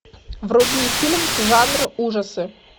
вруби фильм жанр ужасы